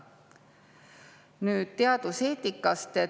Nüüd teaduseetikast.